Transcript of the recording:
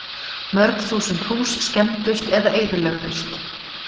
Mörg þúsund hús skemmdust eða eyðilögðust